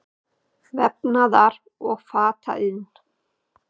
Vefnaðar- og fataiðn.